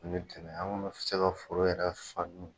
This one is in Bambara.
N'i bi tɛmɛ an kun mi se ka foro yɛrɛ